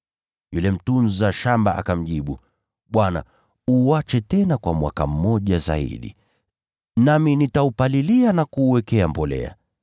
“Yule mtunza shamba akamjibu, ‘Bwana, uache tena kwa mwaka mmoja zaidi, nami nitaupalilia na kuuwekea mbolea.